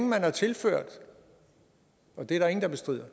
man har tilført og det er der ingen der bestrider